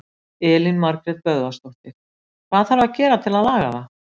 Elín Margrét Böðvarsdóttir: Hvað þarf að gera til að laga það?